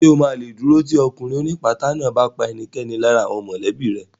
Ṣè o ma lè dúró tì ọkùnrin ó ní ìpátá náà bá pa ẹnikẹ́ni lára àwọn mọ̀lẹ́bí rẹ̀